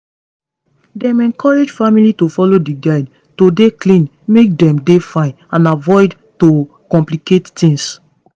dem encourage family to follow di guide to dey clean make dem dey fine and avoid to complicate tings